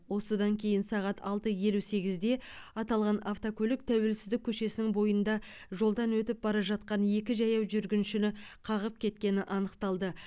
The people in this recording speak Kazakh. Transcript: осыдан кейін сағат алты елу сегізде аталған автокөлік тәуелсіздік көшесінің бойында жолдан өтіп бара жатқан екі жаяу жүргіншіні қағып кеткені анықталды